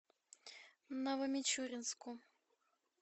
новомичуринску